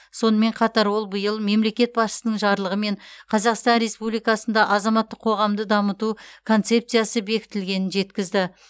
сонымен қатар ол биыл мемлекет басшысының жарлығымен қазақстан республикасында азаматтық қоғамды дамыту концепциясы бекітілгенін жеткізді